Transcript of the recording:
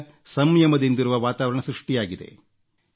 ಈಗ ಸಂಯಮದಿಂದಿರುವ ವಾತಾವರಣ ಸೃಷ್ಟಿಯಾಗಿದೆ